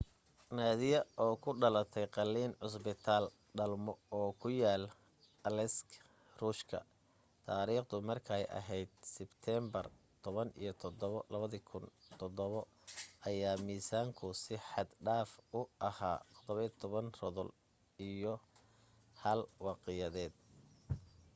nadia oo ku dhalatay qalliin cusbitaal dhalmo oo ku yaal aleisk ruushka taariikhdu markay ahayd sibteenbar 17 2007 ayaa miisaanku si xad dhaafa u ahaa 17 rodol 1 wiqiyadeed